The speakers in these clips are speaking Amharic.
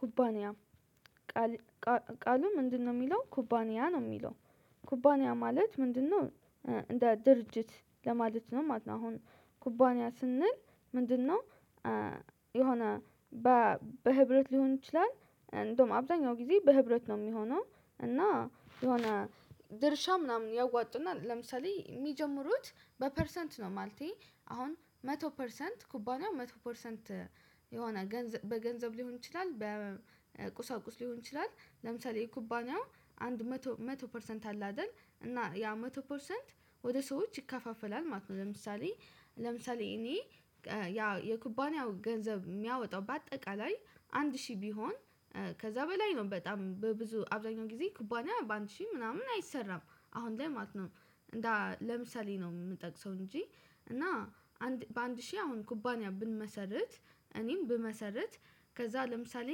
ኩባንያ ቃሉ ምንድነው የሚለው ኩባንያ ነው የሚለው ኩባንያ ማለት ምንድነው? እንደ ድርጅት ለማለት ነው ማለት ነው። አሁን ኩባንያ ስንል ምንድነው? የሆነ በህብረት ሊሆን ይችላል እንደውም አብዛኛው ጊዜ በህብረት ነው የሚሆነው። እና የሆነ ድርሻ ምናምን ያዋጡና ለምሳሌ የሚጀምሩት በፐርሰንት ነው። ማለቴ አሁን መቶ ፐርሰንት ኩባንያው መቶ ፐርሰንት የሆነ ገንዘብ በገንዘብ ሊሆን ይችላል በቁሳቁስ ሊሆን ይችላል። ለምሳሌ የኩባንያው አንድ መቶ መቶ ፐርሰንት አለ አይደል እና ያ መቶ ፐርሰንት ወደ ሰዎች ይከፋፈላል ማለት ነው። ለምሳሌ ለምሳሌ እኔ ያ የኩባንያው ገንዘብ ሚያወጣው በአጠቃላይ አንድ ሺህ ቢሆን ከዛ በላይ ነው በጣም በብዙ አብዛኛው ጊዜ ኩባንያ በአንድ ሺህ ምናምን አይሰራም። አሁን ላይ ማለት ነው። ለምሳሌ ነው የምጠቅሰው እንጂ እና በአንድ ሺህ አሁን ኩባንያ ብንመሰርት እኔም ብመሰርት ከዛ ለምሳሌ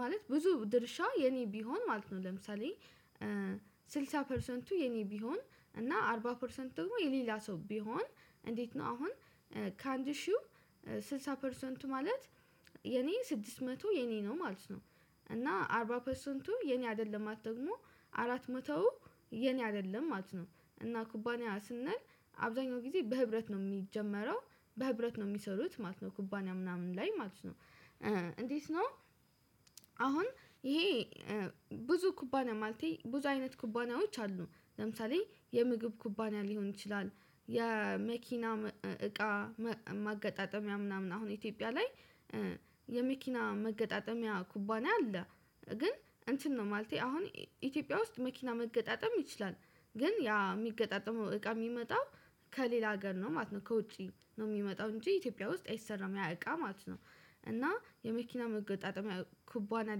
ማለት ብዙ ድርሻ የኔ ቢሆን ማለት ነው። ለምሳሌ ስልሳ ፐርሰንቱ የኔ ቢሆን እና አርባ ፐርሰንት ደግሞ የሌላሰው ቢሆን እንዴት? ነው አሁን ከአንድ ሺህ ስልሳ ፐርሰንቱ ማለት የኔ ስድስት መቶ የኔ ነው ማለት ነው። እና አርባ ፐርሰንቱ የኔ አይደለም ማለት ደግሞ አራት መቶው የኔ አይደለም አት ነው። እና ኩባንያ ስንል አብዛኛው ጊዜ በህብረት ነው የሚጀመረው በህብረት ነው የሚሰሩት ማለት ነው ኩባንያ ምናምን ላይ ማለት ነው። እንዴት ነው? አሁን ይሄ ብዙ ኩባንያ ማለቴ ብዙ አይነት ኩባናዎች አሉ። ለምሳሌ የምግብ ኩባኒያ ሊሆን ይችላል። የመኪና እቃ ማገጣጠሚያ ምናምን አሁን ኢትዮጵያ ላይ የመኪና መገጣጠሚያ ኩባንያ አለ። ግን እንትን ነው ማለቴ አሁን ኢትዮጵያ ውስጥ መኪና መገጣጠም ይችላል። ግን ያ የሚገጣጠመው እቃ የሚመጣው ከሌላ ሀገር ነው ማለት ነው ከውጪ ነው የሚመጣው እንጂ ኢትዮጵያ ውስጥ አይሰራም ያ እቃ ማለት ነው። እና የመኪና መገጣጠሚያ ኩባንያ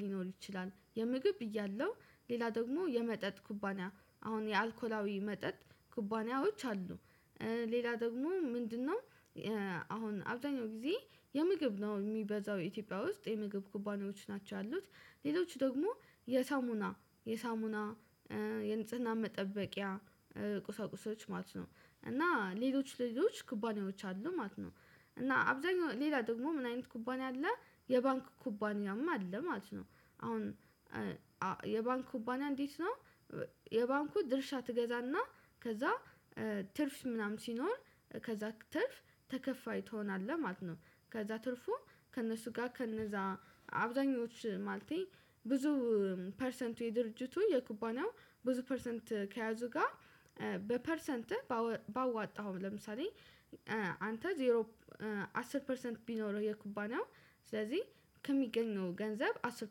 ሊሆን ይችላል የምግብ ብያለው ሌላ ደግሞ የመጠጥ ኩባና አሁን የአልኮላዊ መጠጥ ኩባንያዎች አሉ። ሌላ ደግሞ ምንድነው? አሁን አብዛኛው ጊዜ የምግብ ነው የሚበዛው ኢትዮጵያ ውስጥ የምግብ ኩባኔዎች ናቸው ያሉት። ሌሎች ደግሞ የሳሙና የሳሙና የንጽህና መጠበቂያ ቁሳቁሶች ማለት ነው። እና ሌሎች ሌሎች ኩባንያዎች አሉ ማለት ነው። እና አብዛኛው ሌላ ደግሞ ምን አይነት ኩባንያ አለ? የባንክ ኩባንያማ አለ ማለት ነው። አሁን የባንክ ኩባንያ እንዴት ነው? የባንኩ ድርሻ ትገዛና ከዛ ትርፍ ምናምን ሲኖር ከዛ ትርፍ ተከፋይ ትሆናለህ ማለት ነው። ከዛ ትርፉ ከእነሱ ጋር ከእነዛ አብዛኞቹ ማለቴ ብዙ ፐርሰንቱ የድርጅቱ የኩባንያው ብዙ ፐርሰንት ከያዙ ጋር በፐርሰንት ባወጣው ለምሳሌ አንተ ዜሮ አስር ፐርሰንት ቢኖርህ የኩባንያው ስለዚህ ከሚገኘው ገንዘብ አስር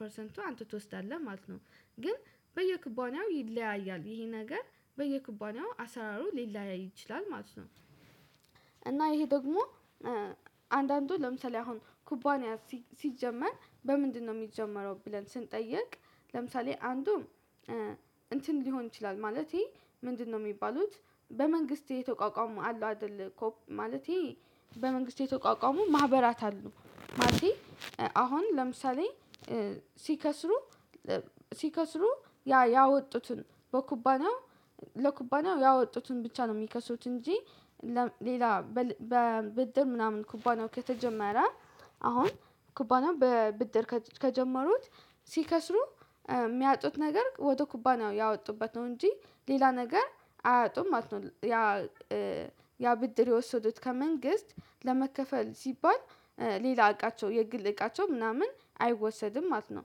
ፐርሰንቱ አንተ ትወስዳለህ ማለት ነው። ግን በየኩባንያው ይለያያል ይሄ ነገር በየኩባንያው አሰራሩ ሊለያይ ይችላል ማለት ነው። እና ይሄ ደግሞ አንዳንዱ ለምሳሌ አሁን ኩባንያ ሲጀመር በምንድነው የሚጀመረው? ብለን ስንጠይቅ ለምሳሌ አንዱም እንትን ሊሆን ይችላል ማለቴ ምንድነው የሚባሉት በመንግስቴ ተቋቋሙ አሉ አይደል። ማለቴ በመንግስት የተቋቋሙ ማህበራት አሉ ማለቴ። አሁን ለምሳሌ ሲከስሩ ሲከስሩ ያ ያወጡትን በኩባና ለኩባናው ያወጡትን ብቻ ነው የሚከሱት እንጂ። ሌላ በብድር ምናምን ኩባናው ከተጀመረ አሁን ኩባናው በብድር ከጀመሩት ሲከስሩ ሚያጡት ነገር ወደ ኩባንያው ያወጡበት ነው እንጂ ሌላ ነገር አያጡም ማለት ነው። ያ ብድር የወሰዱት ከመንግስት ለመከፈል ሲባል ሌላ እቃቸው የግል እቃቸው ምናምን አይወሰድም ማለት ነው።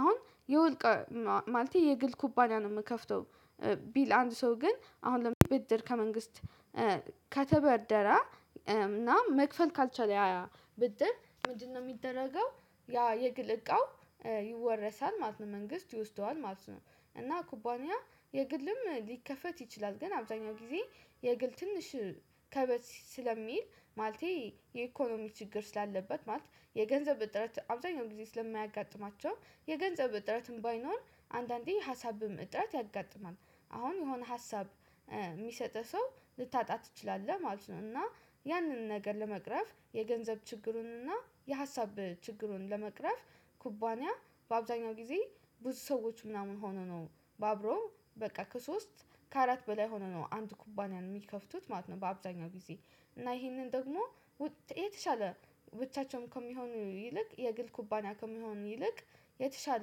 አሁን የወልቅ ማለቴ የግል ኩባንያ ነው የምከፍተው። ቢል አንድ ሰው ግን አሁን ብድር ከመንግስት ከተበደረ እና መክፈል ካልቻለ ያ ብድር ምንድነው የሚደረገው? ያ የግል እቃው ይወረሳል ማለት ነው መንግስት ይወስደዋል ማለት ነው። እና ኩባንያ የግልም ሊከፈት ይችላል ግን አብዛኛው ጊዜ የግል ትንሽ ከበዝ ስለሚል ማለቴ የኢኮኖሚ ችግር ስላለበት ማለት የገንዘብ ጥረት አብዛኛው ጊዜ ስለሚያጋጥማቸው የገንዘብ ጥረትም ባይኖር አንዳንዴ ሀሳብም ጥረት ያጋጥማል። አሁን የሆነ ሀሳብ የሚሰጥህ ሰው ልታጣ ትችላለህ ማለት ነው። እና ያንን ነገር ለመቅረፍ የገንዘብ ችግሩንና የሀሳብ ችግሩን ለመቅረፍ ኩባንያ በአብዛኛው ጊዜ ብዙ ሰዎች ምናምን ሆኖ ነው። አብሮ በቃ ከሶስት ከአራት በላይ ሆኖ ነው አንድ ኩባንያን የሚከፍቱት ማለት ነው። በአብዛኛው ጊዜ እና ይሄንን ደግሞ የተሻለ ብቻቸውን ከሚሆኑ ይልቅ የግል ኩባንያ ከመሆኑ ይልቅ የተሻለ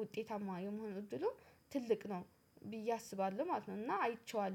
ውጤታማ የመሆኑ እድሉ ትልቅ ነው። ብዬ አስባለሁ ማለት ነው። እና አይቼዋለሁ